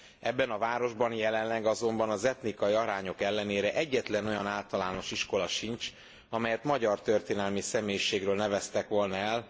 Ebben a városban jelenleg azonban az etnikai arányok ellenére egyetlen olyan általános iskola sincs, amelyet magyar történelmi személyiségről neveztek volna el.